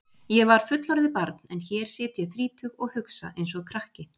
Ég var fullorðið barn en hér sit ég þrítug og hugsa einsog krakki.